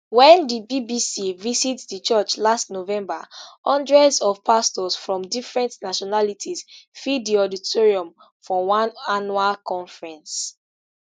wen di bbc visit di church last november hundreds of pastors from different nationalities fill di auditorium for one annual conference